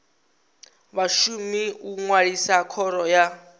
vhashumi u ṅwalisa khoro ya